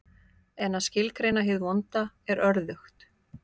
En að skilgreina hið vonda er örðugt.